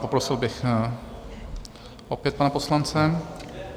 Poprosil bych opět pana poslance.